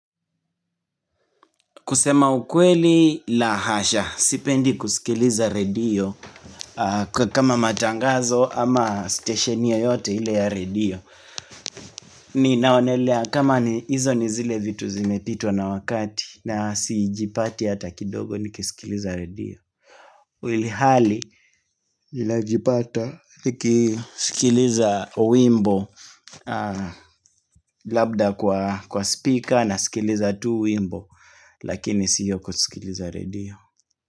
Kusema ukweli lahasha, sipendi kuskiliza redio kwa kama matangazo ama stetioni yoyote ile ya redio. Ninaonelea kama hizo nizile vitu zimepitwa na wakati na sijipati hata kidogo nikisikiliza redio. Ilihali, ninajipata nikisikiliza wimbo labda kwa speaker naskiliza tu wimbo lakini siyo kusikiliza redio.